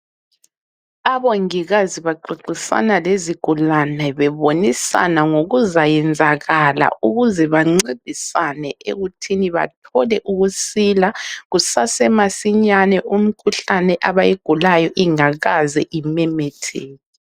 Abongikazi baxoxisana lezigulane bebonisana ngokuzayenzakala ukuze bancedisane ekuthini bathole ukusila kusasemasinyane imikhuhlane abayigulayo ingakaze imemetheke.